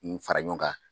N fara ɲɔgɔn kan